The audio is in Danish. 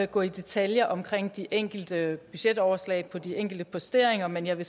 gå i detaljer om de enkelte budgetoverslag på de enkelte posteringer men jeg vil